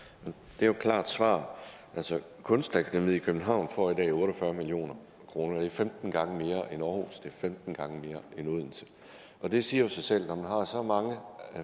det er jo et klart svar kunstakademiet i københavn får i dag otte og fyrre million kroner det er femten gange mere end aarhus det er femten gange mere end odense det siger sig selv at når man har så mange